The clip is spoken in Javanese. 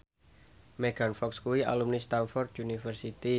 Megan Fox kuwi alumni Stamford University